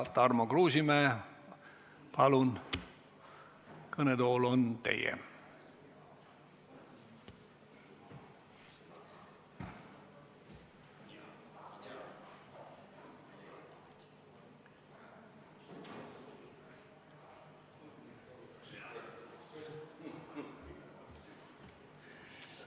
Tarmo Kruusimäe, palun, kõnetool on teie!